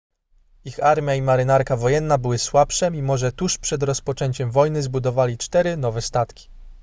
ich armia i marynarka wojenna były słabsze mimo że tuż przed rozpoczęciem wojny zbudowali cztery nowe statki